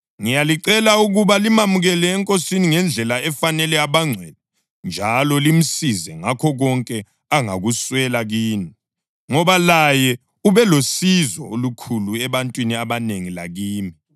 Ngiyalicela ukuba limamukele eNkosini ngendlela efanele abangcwele njalo limsize ngakho konke angakuswela kini, ngoba laye ubelosizo olukhulu ebantwini abanengi, lakimi.